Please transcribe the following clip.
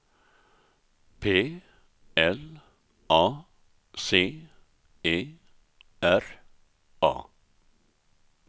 P L A C E R A